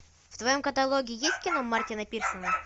в твоем каталоге есть кино мартина пирсона